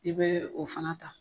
I bɛ o fana ta.